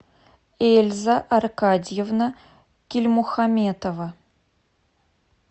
эльза аркадьевна кильмухаметова